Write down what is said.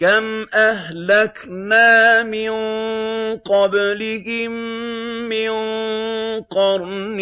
كَمْ أَهْلَكْنَا مِن قَبْلِهِم مِّن قَرْنٍ